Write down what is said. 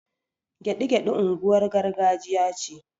Gyaɗi-gyaɗi unguwar gargajiya ce